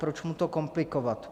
Proč mu to komplikovat?